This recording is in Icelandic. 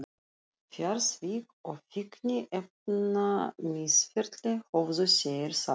Fjársvik og fíkniefnamisferli, höfðu þeir sagt.